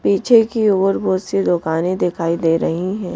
पीछे की ओर बहोत सी दुकानें दिखाई दे रही हैं।